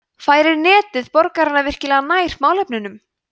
færir netið borgarana virkilega nær málefnunum